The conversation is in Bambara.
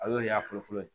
A y'o de y'a fɔlɔ fɔlɔ ye